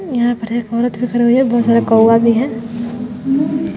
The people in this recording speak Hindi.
यहां पर एक औरत भी खड़ी हुई हैं बहोत सारे कौवा भी हैं।